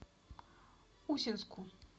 усинску